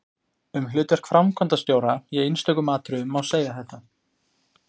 Um hlutverk framkvæmdastjóra í einstökum atriðum má segja þetta